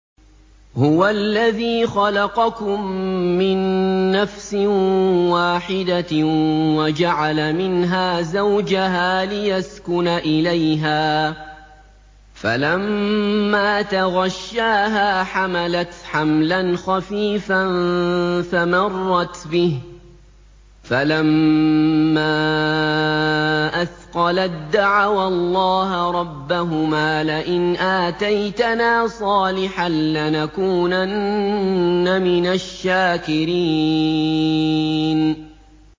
۞ هُوَ الَّذِي خَلَقَكُم مِّن نَّفْسٍ وَاحِدَةٍ وَجَعَلَ مِنْهَا زَوْجَهَا لِيَسْكُنَ إِلَيْهَا ۖ فَلَمَّا تَغَشَّاهَا حَمَلَتْ حَمْلًا خَفِيفًا فَمَرَّتْ بِهِ ۖ فَلَمَّا أَثْقَلَت دَّعَوَا اللَّهَ رَبَّهُمَا لَئِنْ آتَيْتَنَا صَالِحًا لَّنَكُونَنَّ مِنَ الشَّاكِرِينَ